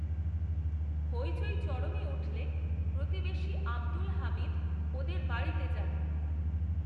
হইচই চরমে উঠলে প্রতিবেশী আবদুল হামিদ, ওদের বাড়িতে যান